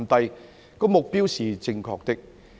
這個目標是正確的。